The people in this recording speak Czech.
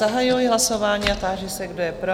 Zahajuji hlasování a táži se, kdo je pro?